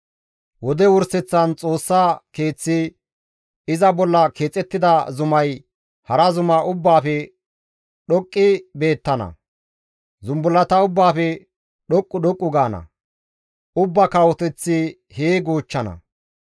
Wode wurseththan Xoossa keeththi iza bolla keexettida zumay hara zuma ubbaafe dhoqqi beettana. Zumbullata ubbaafe dhoqqu dhoqqu gaana; ubbaa kawoteththati hee goochchana.